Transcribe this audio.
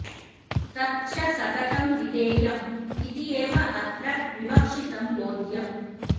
तत् च सततं विधेयं इति एव अत्र विवक्षितं बोध्यम्